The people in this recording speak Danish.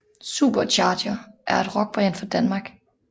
SuperCharger er et rockband fra Danmark